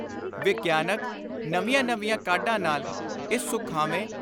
ਵਿਗਿਆਨਕ, ਨਵੀਆਂ ਨਵੀਆਂ ਕਾਢਾਂ ਨਾਲ, ਇਸ ਸੁਖਾਵੇਂ